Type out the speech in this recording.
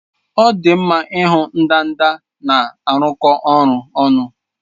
Ọ dị mma ịhụ ndanda na-arụkọ ọrụ ọnụ